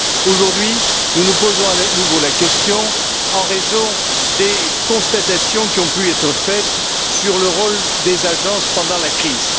Aujourd'hui, nous nous posons à nouveau la question en raison des constatations qui ont pu être faites sur le rôle des agences pendant la crise.